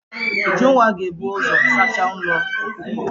Ujunwa ga-ebu ụzọ saacha ụlọ ọkụkọ.